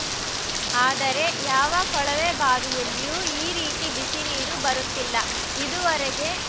ಆದರೆ ಯಾವ ಕೊಳವೆ ಬಾವಿಯಲ್ಲಿಯೂ ಈ ರೀತಿ ಬಿಸಿ ನೀರು ಬರುತ್ತಿಲ್ಲ ಇದುವರೆಗೆ